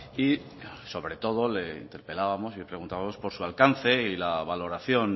y sobre todo le interpelábamos y le preguntábamos por su alcance y la valoración